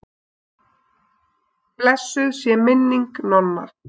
Blessuð sé minning Nonna.